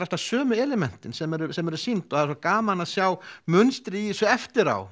alltaf sömu elementin sem eru sem eru sýnd og það er gaman að sjá munstrið í þessu eftir á